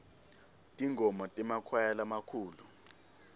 tingoma temakwaya lamakhulu